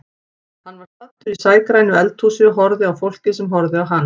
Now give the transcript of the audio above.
Hann var staddur í sægrænu eldhúsi og horfði á fólkið sem horfði á hann.